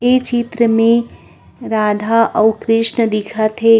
इये चित्र में राधा आउ कृष्ण भी दिखत हे ।